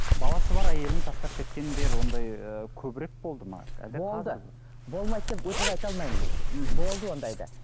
баласы бар әйелін тастап кеткендер ондай ы көбірек болды ма болды болмайды деп өтірік айта алмаймын мхм болды ондай да